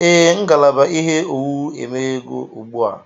Ee, ngalaba ihe owuwu emeghewo ugbu a